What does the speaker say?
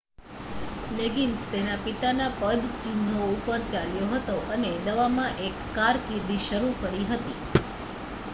leggings તેના પિતાના પદચિહનો ઉપર ચાલ્યો હતો અને દવામાં એક કારકિર્દી શરુ કરી હતી